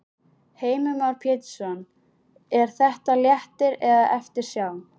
Heimir Már Pétursson: Er þetta léttir eða eftirsjá?